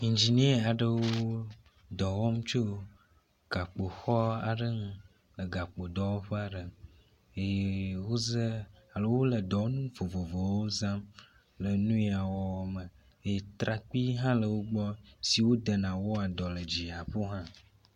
Ingenia aɖewo dɔ wɔm tso gakpoxɔ aɖe ŋu le gakpodɔwɔƒe aɖe eye woze alo wo le dɔwɔnu vovovowo zam le nuya wɔwɔ me eeye trakpi hã le wo gbɔ si wedena wɔ dɔ le dziƒo hã.